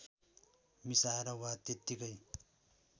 मिसाएर वा त्यतिकै